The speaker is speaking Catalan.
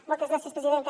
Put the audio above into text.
moltes gràcies presidenta